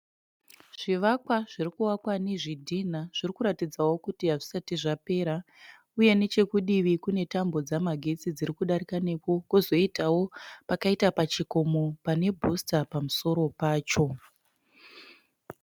Zvivakwa zvirikuvakwa nezvidhinha zvirikuratidzawo kuti hazvisati zvapera uye nechekudivi kune tambo dzemagetsi dzirikudarikawo nepo kozoitawo pakaita pachikomo pane "booster" pamusoro pacho.